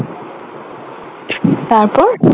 তারপর?